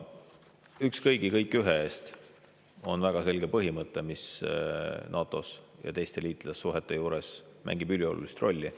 "Üks kõigi, kõik ühe eest" on väga selge põhimõte, mis NATO-s ja teiste liitlassuhete puhul mängib üliolulist rolli.